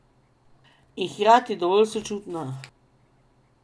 In hkrati dovolj sočutna.